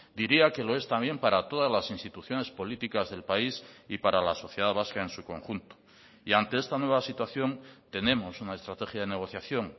diría que lo es también para todas las instituciones políticas del país y para la sociedad vasca en su conjunto y ante esta nueva situación tenemos una estrategia de negociación